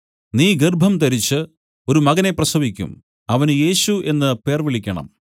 നീ ഗർഭംധരിച്ചു ഒരു മകനെ പ്രസവിക്കും അവന് യേശു എന്നു പേർ വിളിക്കണം